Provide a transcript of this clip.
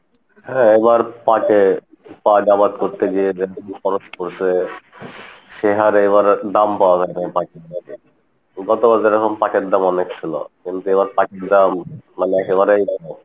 হ্যাঁ এবার পাটে পাট আবার প্রত্যেকের সে হারে এবার দাম পাওয়া যাই নাই পাটে বিগত যেরকম পাট এর দাম অনেক ছিলো কিন্তু এবার পাটের দাম মানে একেবারেই